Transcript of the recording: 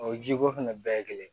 O jiko fɛnɛ bɛɛ ye kelen ye